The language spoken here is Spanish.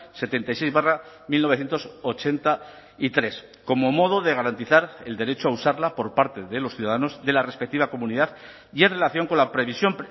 setenta y seis barra mil novecientos ochenta y tres como modo de garantizar el derecho a usarla por parte de los ciudadanos de la respectiva comunidad y en relación con la previsión